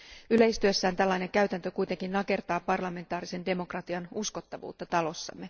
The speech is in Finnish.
Yleistyessään tällainen käytäntö kuitenkin nakertaa parlamentaarisen demokratian uskottavuutta parlamentissa.